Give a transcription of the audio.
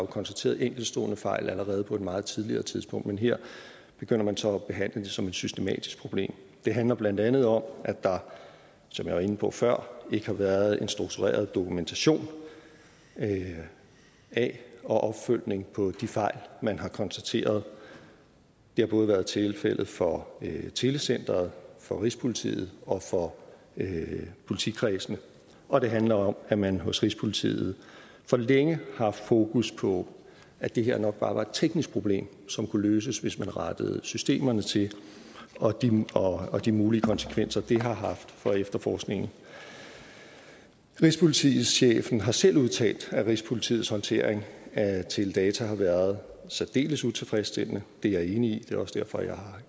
konstateret enkeltstående fejl allerede på et meget tidligere tidspunkt men her begynder man så at behandle det som et systematisk problem det handler blandt andet om at der som jeg var inde på før ikke har været en struktureret dokumentation af og opfølgning på de fejl man har konstateret det har både været tilfældet for telecenteret for rigspolitiet og for politikredsene og det handler om at man hos rigspolitiet for længe har haft fokus på at det her nok bare var et teknisk problem som kunne løses hvis man rettede systemerne til og de og de mulige konsekvenser det har haft for efterforskningen rigspolitichefen har selv udtalt at rigspolitiets håndtering af teledata har været særdeles utilfredsstillende det er jeg enig i og er også derfor jeg har